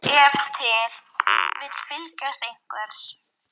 Við þurfum að eiga við þig orð- sagði Valdimar.